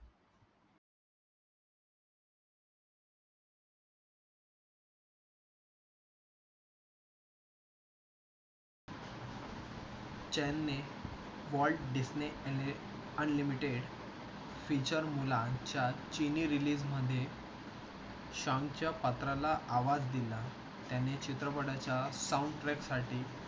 त्याने Walt Disney unlimited feature मुलांच्या चीनी रिलीजमध्ये चानच्या पात्राला आवाज दिला.